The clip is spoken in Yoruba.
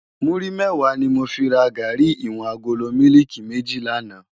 Múri mèwá ni mó fi rá gàrí iwòn àgóló mìlíkí mèjí làná